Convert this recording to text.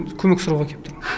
көмек сұрауға келіп тұрмын